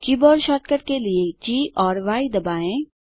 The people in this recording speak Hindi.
कीबोर्ड शॉर्टकट के लिए जी और य दबाएँ